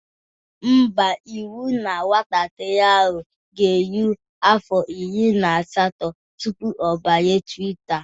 Ḿbà, iwu na nwatakịrị ahụ ga-eru afọ iri na asatọ tụpụ ọ banye twita